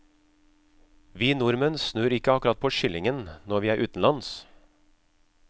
Vi nordmenn snur ikke akkurat på skillingen når vi er utenlands.